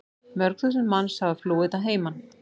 Mörg þúsund manns hafa flúið að heiman.